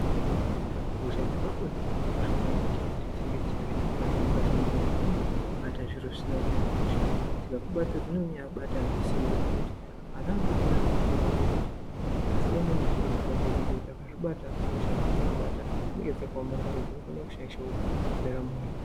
Hosha dzepabonde dzakakosha maningi kuti dzinge dzichivhenekwa kazhinji-kazhinji nokuti dzinobata zviro zvisina kumira mushe. Dzikakubata dzinonyanya kubata ngesimba zvokuti ana adoodori anokurudzirwa kuti asiyane nezviro zvepabonde ngekuti akazvibata hosha dzinovabata dzinee dzakaomarara, dzinokona kushaisha ndaramo yavo.